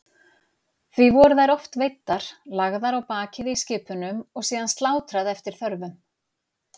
Því voru þær oft veiddar, lagðar á bakið í skipunum og síðan slátrað eftir þörfum.